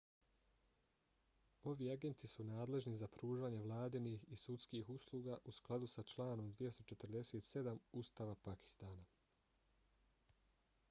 ovi agenti su nadležni za pružanje vladinih i sudskih usluga u skladu s članom 247 ustava pakistana